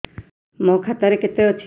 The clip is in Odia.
ମୋ ଖାତା ରେ କେତେ ଅଛି